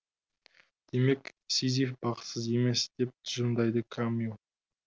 демек сизиф бақытсыз емес деп тұжырымдайды камю